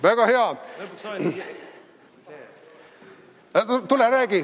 Väga hea!